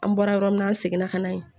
An bɔra yɔrɔ min na an seginna ka na yen